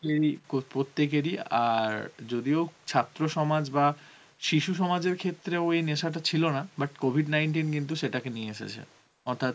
প্রত্যেকের ই আর যদিও ছাত্র সমাজ বা শিশু সমাজের ক্ষেত্রে ও এই নেশাটা ছিল না but COVID nineteen কিন্তু সেটাকে নিয়ে এসেছে, অর্থাৎ